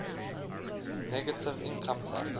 negative income tax